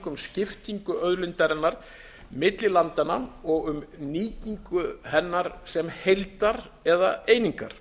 um skiptingu auðlindarinnar milli landanna og um nýtingu hennar sem heildar eða einingar